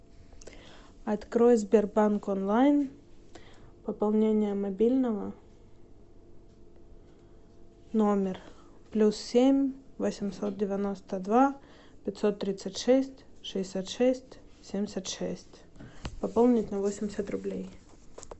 открой сбербанк онлайн пополнение мобильного номер плюс семь восемьсот девяносто два пятьсот тридцать шесть шестьдесят шесть семьдесят шесть пополнить на восемьдесят рублей